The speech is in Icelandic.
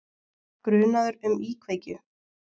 Grunaður um íkveikju